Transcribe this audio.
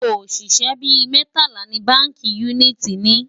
oṣiṣẹ bí mẹtala ní bánkì uniti ní